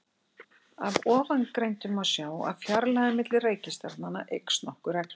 Af ofangreindu má sjá að fjarlægðin milli reikistjarnanna eykst nokkuð reglulega.